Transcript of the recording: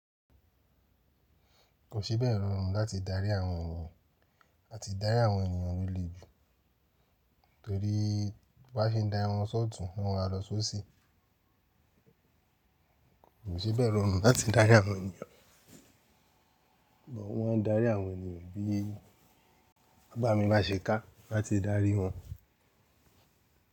Kò sí bẹ̀rù ọ̀run láti darí àwọn ènìyàn, à ti darí àwọn ènìyàn lọlé jù torí bi e se ń darí wọn sọ́ọ̀tún, ni wọn maa lọ sóṣì. Kò sí bẹ̀rù ọ̀run láti darí àwọn ènìyàn, bọ̀ wọn darí àwọn ènìyàn bí bábà mi máa se ká láti darí wọn.